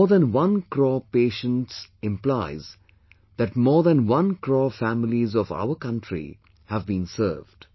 More than one crore patients implies that more than one crore families of our country have been served